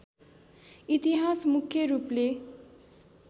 इतिहास मुख्य रूपले